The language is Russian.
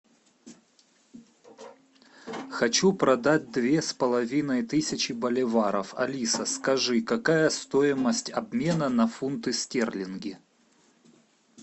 хочу продать две с половиной тысячи боливаров алиса скажи какая стоимость обмена на фунты стерлинги